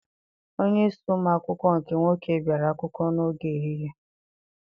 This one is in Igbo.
Onyeisi ụmụ akwụkwọ nke nwoke biara akwụkwọ n'oge ehihie.